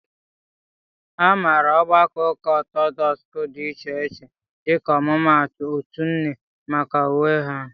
A maara ogbakọ ụka Ọtọdọks dị iche iche (dịka ọmụmaatụ otu nne) maka uwe ha.